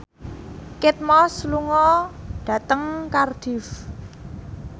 Kate Moss lunga dhateng Cardiff